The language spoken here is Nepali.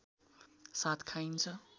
साथ खाइन्छ